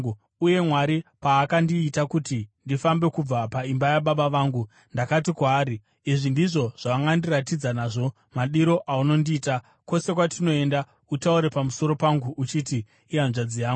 Uye Mwari paakandiita kuti ndifambe kubva paimba yababa vangu, ndakati kwaari, ‘Izvi ndizvo zvaungandiratidza nazvo madiro aunondiita: Kwose kwatinoenda, utaure pamusoro pangu uchiti, “Ihanzvadzi yangu.” ’”